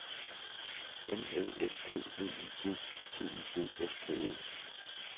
N Æ S T V I G T I G S T E